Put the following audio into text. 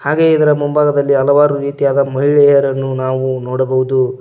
ಹಾಗೆ ಇದರ ಮುಂಭಾಗದಲ್ಲಿ ಹಲವಾರು ರೀತಿಯಾದ ಮಹಿಳೆಯರನ್ನು ನಾವು ನೋಡಬಹುದು.